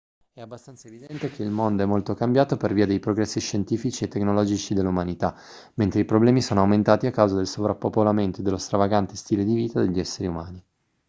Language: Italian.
è abbastanza evidente che il mondo è molto cambiato per via dei progressi scientifici e tecnologici dell'umanità mentre i problemi sono aumentati a causa del sovrappopolamento e dello stravagante stile di vita degli esseri umani